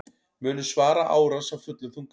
Munu svara árás af fullum þunga